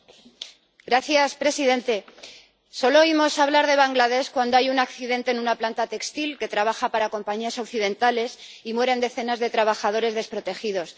Señor presidente, solo oímos hablar de Bangladés cuando hay un accidente en una planta textil que trabaja para compañías occidentales y mueren decenas de trabajadores desprotegidos.